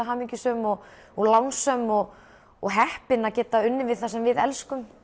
hamingjusöm og og lánsöm og og heppin að geta unnið við það sem við elskum